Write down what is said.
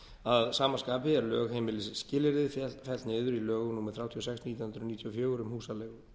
að sama skapi er lögheimilisskilyrði fellt niður í lögum númer þrjátíu og sex nítján hundruð níutíu og fjögur um húsaleigu